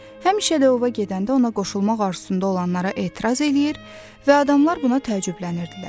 Həmişə də ova gedəndə ona qoşulmaq arzusunda olanlara etiraz eləyir və adamlar buna təəccüblənirdilər.